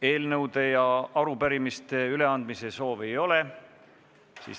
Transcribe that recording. Eelnõude ja arupärimiste üleandmise soovi ei ole.